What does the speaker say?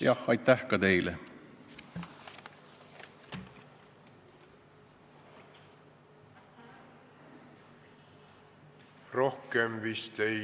Jah, aitäh ka teile!